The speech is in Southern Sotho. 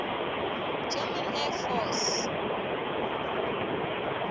german air force